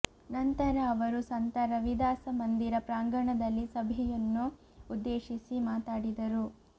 ನಂತರ ಅವರು ಸಂತ ರವಿದಾಸ ಮಂದಿರ ಪ್ರಾಂಗಣದಲ್ಲಿ ಸಭೆಯುನ್ನು ಉದ್ದೇಶಿ ಮಾತಾಡಿದರು